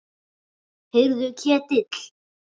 Heyrðu Ketill.